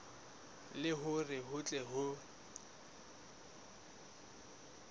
le hore ho tle ho